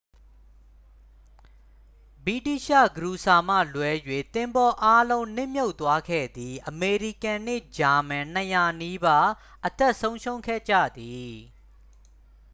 ဗြိတိသျှခရူစာမှလွဲ၍ သင်္ဘောအားလုံး နစ်မြှုပ်သွားခဲ့သည် အမေရိကန်နှင့် ဂျာမန် 200 နီးပါး အသက်ဆုံးရှုံးခဲ့ကြသည်